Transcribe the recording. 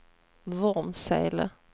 Vormsele